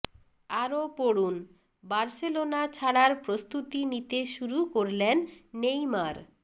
আরও পড়ুন বার্সেলোনা ছাড়ার প্রস্তুতি নিতে শুরু করলেন নেইমার